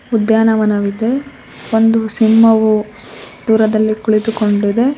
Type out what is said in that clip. ಉದ್ಯಾನವನವಿದೆ ಒಂದು ಸಿಂಹವು ದೂರದಲ್ಲಿ ಕುಳಿತು ಕೊಂಡಿದೆ.